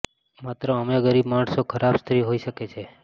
માત્ર અમે ગરીબ માણસો ખરાબ સ્ત્રી હોઈ શકે છે